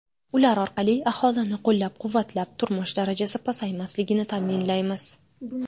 Ular orqali aholini qo‘llab-quvvatlab, turmush darajasi pasaymasligini ta’minlaymiz.